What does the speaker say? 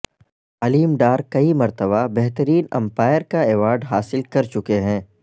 علیم ڈار کئی مرتبہ بہترین امپائر کا ایوارڈ حاصل کر چکے ہیں